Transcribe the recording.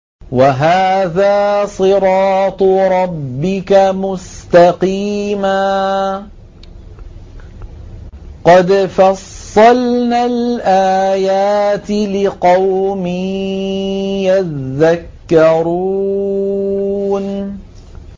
وَهَٰذَا صِرَاطُ رَبِّكَ مُسْتَقِيمًا ۗ قَدْ فَصَّلْنَا الْآيَاتِ لِقَوْمٍ يَذَّكَّرُونَ